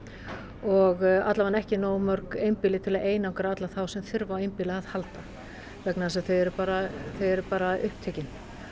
og alla vega ekki nógu mörg einbýli til að einangra alla þá sem þurfa á einbýli að halda vegna þess að þau eru þau eru upptekin